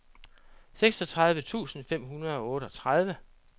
seksogtredive tusind fem hundrede og otteogtredive